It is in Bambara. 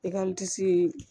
E ka